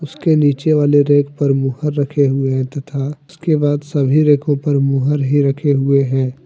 उसके नीचे वाले रेक पर मुहर रखे हुए हैं तथा उसके बाद सभी रेकों पर मुहर ही रखे हुए हैं।